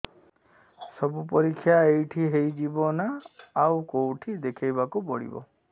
ସବୁ ପରୀକ୍ଷା ଏଇଠି ହେଇଯିବ ନା ଆଉ କଉଠି ଦେଖେଇ ବାକୁ ପଡ଼ିବ